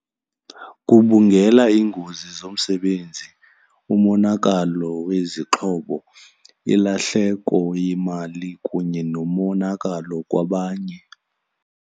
Gubungela iingozi zomsebenzi, umonakalo wezixhobo, ilahleko yemali kunye nomonakalo kwabanye.